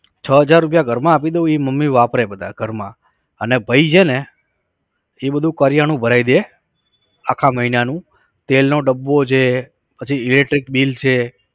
છ હજાર રૂપિયા ઘરમાં આપી દઉં એ મમ્મી વાપરે બધા ઘરમાં અને ભાઈ છે ને એ બધુ કરિયાણું ભરાઈ દે આખા મહિનાનું તેલનો ડબ્બો છે પછી electric bill છે